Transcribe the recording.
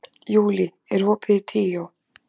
Júlí, er opið í Tríó?